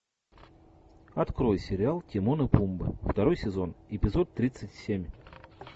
открой сериал тимон и пумба второй сезон эпизод тридцать семь